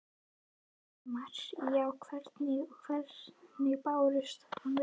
Heimir: Já, hvernig, og hvernig brást hann við?